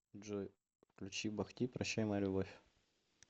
джой включи бах ти прощай моя любовь